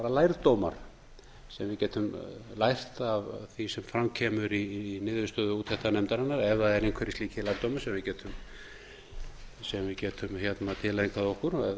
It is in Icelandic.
ef við getum lært af því sem fram kemur í niðurstöðu úttektarnefndarinnar ef það eru einhverjir slíkir lærdómar sem við getum tileinkað okkur